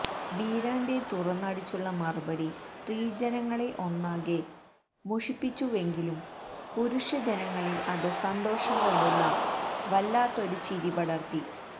ബീരാന്റെ തുറന്നടിച്ചുള്ള മറുപടി സ്ത്രീജനങ്ങളെ ഒന്നാകെ മുഷിപ്പിച്ചുവെങ്കിലും പുരുഷജനങ്ങളിൽ അത് സന്തോഷം കൊണ്ടുള്ള വല്ലാത്തൊരു ചിരിപടർത്തി